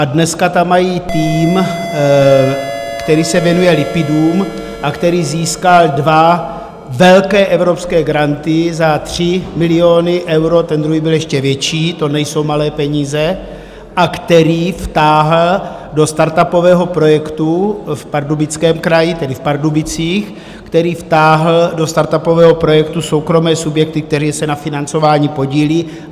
A dneska tam mají tým, který se věnuje lipidům a který získal dva velké evropské granty za 3 miliony euro, ten druhý byl ještě větší, to nejsou malé peníze, a který vtáhl do startupového projektu v Pardubickém kraji, tedy v Pardubicích, který vtáhl do startupového projektu soukromé subjekty, které se na financování podílí.